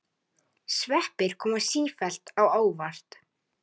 Sveppir koma sífellt á óvart!